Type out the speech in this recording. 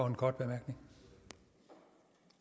kan godt gå